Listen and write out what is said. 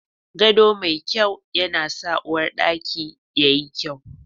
Gado mai kyau na sa uwarɗaki yayi kyau